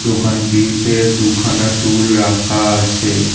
দোকানটিতে দুখানা টুল রাখা আছে।